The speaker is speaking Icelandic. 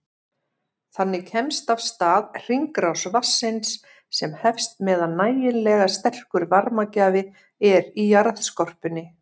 Þannig kemst af stað hringrás vatnsins sem helst meðan nægilega sterkur varmagjafi er í jarðskorpunni.